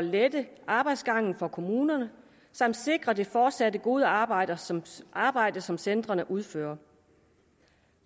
lette arbejdsgangen for kommunerne samt sikre det fortsatte gode arbejde som arbejde som centrene udfører